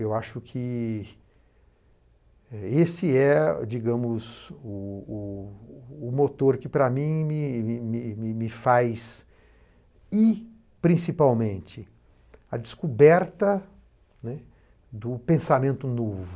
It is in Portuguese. Eu acho que eh esse é, digamos, o o o motor que, para mim, me me me me faz ir, principalmente, à descoberta, né, do pensamento novo.